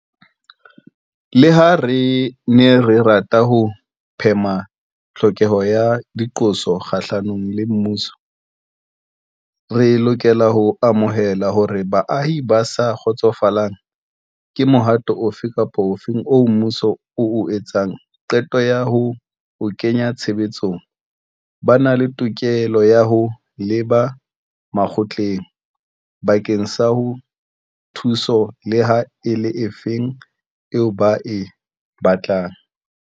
Leha re ne re rata ho phema tlhokeho ya diqoso kgahlanong le mmuso, re lokela ho amohela hore baahi ba sa kgotsofalang ke mohato ofe kapa ofe oo mmuso o entseng qeto ya ho o kenya tshebetsong ba na le tokelo ya ho leba makgotleng bakeng sa thuso leha e le efe eo ba e batlang.